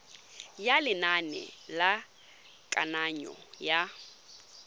ya lenane la kananyo ya